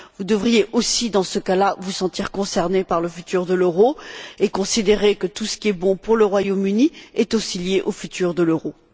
Vous devriez aussi, dans ce cas là, vous sentir concernés par le futur de l'euro et considérer que tout ce qui est bon pour le Royaume Uni est aussi lié au futur de l'euro.